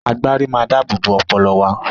Agbárí máa ń dáábòbò ọpọlọ wa.